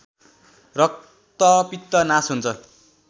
रक्तपित्त नास हुन्छ